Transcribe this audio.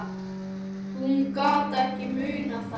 Hún gat ekki munað það.